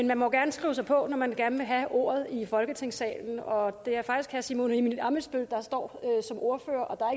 man må gerne skrive sig på når man gerne vil have ordet i folketingssalen og det er faktisk herre simon emil ammitzbøll der står som ordfører og